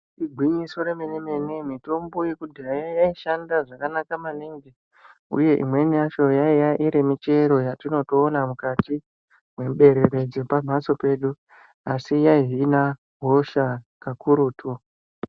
Igwinyiso remene-mene mitombo yekudhaya yaishanda zvakanaka maningi, uye imweni yacho yaiya iri michero yatinotoona mukati muberere dzepamhatso pedu. Asi yaihina hosha kakurutu.